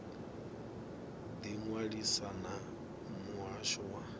ḓi ṅwalisa na muhasho wa